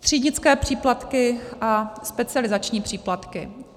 Třídnické příplatky a specializační příplatky.